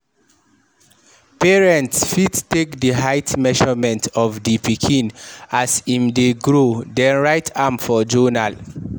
Parents fit take di height measurement of di pikin as im dey grow then write am for journal